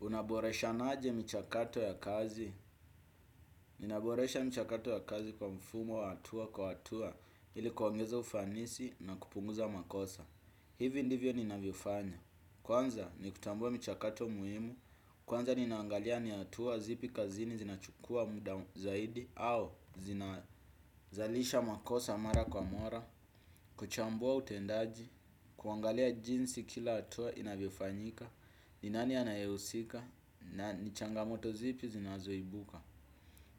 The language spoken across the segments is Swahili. Unaboreshanaje michakato ya kazi? Ninaboresha mchakato ya kazi kwa mfumo wa atua kwa atua ili kuongeza ufanisi na kupunguza makosa. Hivi ndivyo ninavyofanya. Kwanza ni kutambua michakato muhimu. Kwanza ninangalia ni atua zipi kazini zinachukua muda zaidi au zinazalisha makosa mara kwa mora. Kuchambua utendaji. Kuangalia jinsi kila atua inavyofanyika. Ni nani anayeusika. Na ni changamoto zipi zinazoibuka.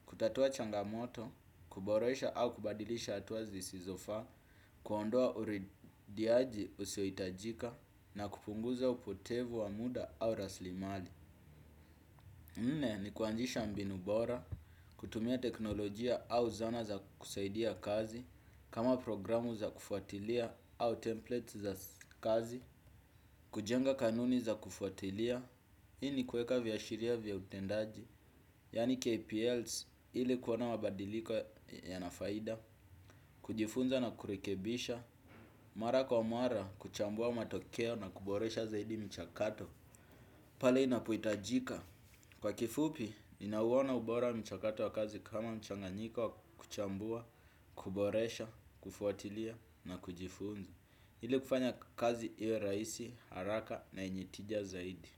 Kutatua changamoto, kuboresha au kubadilisha atuwa zisizofaa. Kuondoa urediaji usioitajika na kupunguza upotevu wa muda au raslimali nne ni kuanzisha mbinu bora, kutumia teknolojia au zana za kusaidia kazi. Kama programu za kufuatilia au templates za kazi. Kujenga kanuni za kufuatilia. Hii ni kueka vyashiria vya utendaji Yani KPLs ili kuona mabadiliko yana faida. Kujifunza na kurekebisha. Mara kwa mara kuchambua matokeo na kuboresha zaidi mchakato. Pale inapoitajika. Kwa kifupi, ninauona ubora wa mchakato wa kazi kama mchanganyiko kuchambua, kuboresha, kufuatilia na kujifunza ili kufanya kazi iwe raisi haraka na yenye tija zaidi.